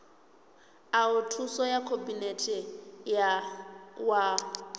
oa thuso ya khabinete wa